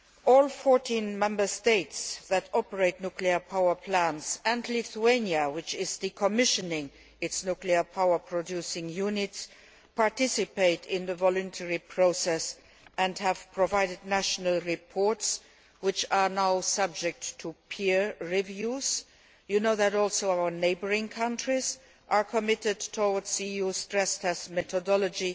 All 14 Member States that operate nuclear power plants and Lithuania, which is decommissioning its nuclear power producing unit are participating in the voluntary process and have provided national reports which are now subject to peer reviews. As you know, our neighbouring countries are also committed to the EU stress test methodology.